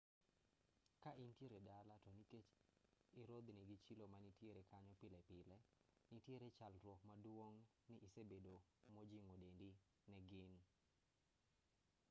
ka intiere dala to nikech irodhno gi chilo manitiere kanyo pile pile nitiere nyalruok maduong' ni isebedo mojing'o dendi ne gin